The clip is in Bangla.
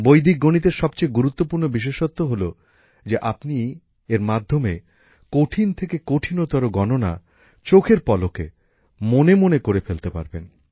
বৈদিক গণিতের সবচেয়ে গুরুত্বপূর্ণ বিশেষত্ব হলো যে আপনি এর মাধ্যমে কঠিন থেকে কঠিনতর গণনা চোখের পলকে মনে মনে করে ফেলতে পারবেন